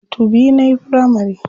Makarantu biyu nayi firamari.